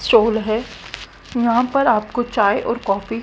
stall है यहां पर आपको चाय और कॉफी --